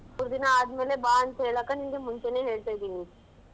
ಮೂರ್ ದಿನ ಆದ್ಮೇಲೆ ಬಾ ಅಂತ ಹೇಳಾಕ ನಿಂಗೆ ಮುಂಚೆನೇ ಹೇಳ್ತಿದ್ದೀನಿ.